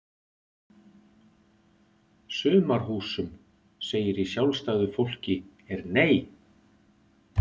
Sumarhúsum segir í Sjálfstæðu fólki er Nei!